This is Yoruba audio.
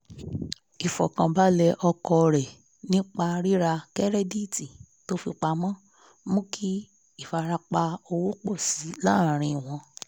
ìfọ̀kànbalẹ̀ ọkọ rẹ̀ nípa rírà kẹ́rẹ́díìtì tó fi pamọ́ mú kí ìfarapa owó pọ̀ síi láàárín wọn